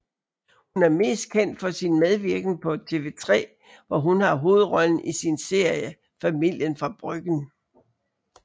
Hun er mest kendt for sin medvirken på TV3 hvor hun har hovedrollen i sin serie Familien fra Bryggen